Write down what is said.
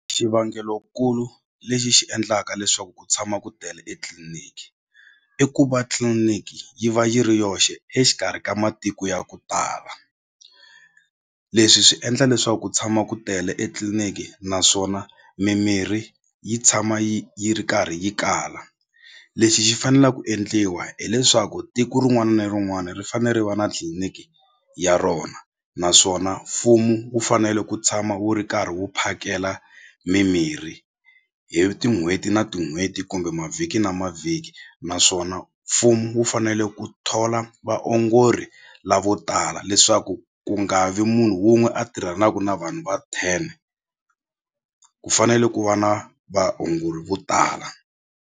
Xivangelonkulu lexi xi endlaka leswaku ku tshama ku tele etliliniki i ku va tliliniki yi va yi ri yoxe exikarhi ka matiko ya ku tala leswi swi endla leswaku ku tshama ku tele etliliniki naswona mimirhi yi tshama yi yi ri karhi yi kala lexi xi fanela ku endliwa hileswaku tiko rin'wani ni rin'wani ri fane ri va na tliliniki ya rona naswona mfumo wu fanele ku tshama wu ri karhi wu phakela mimirhi hi tin'hweti na tin'hweti kumbe mavhiki na mavhiki naswona mfumo wu fanele ku thola vaongori lavotala leswaku ku nga vi munhu wun'we a tirhanaku na vanhu va ten ku fanele ku va na vaongori vo tala.